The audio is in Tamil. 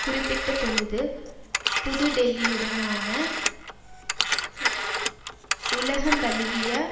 குறிப்பிட்டபொழுது புது டெல்லியுடனான உலகந்தழுவிய